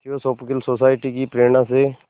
theosophical society की प्रेरणा से